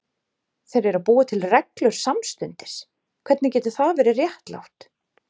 Þeir eru að búa til reglur samstundis, hvernig getur það verið réttlátt?